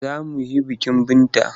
Za mu he bikin Binta.